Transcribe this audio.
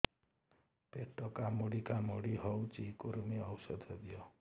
ପେଟ କାମୁଡି କାମୁଡି ହଉଚି କୂର୍ମୀ ଔଷଧ ଦିଅ